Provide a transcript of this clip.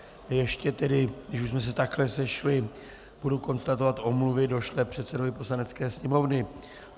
Ještě tedy, když už jsme se takhle sešli, budu konstatovat omluvy došlé předsedovi Poslanecké sněmovny.